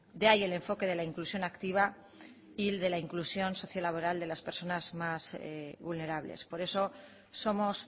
de ahí el enfoque de la inclusión activa y de la inclusión socio laboral de las personas más vulnerables por eso somos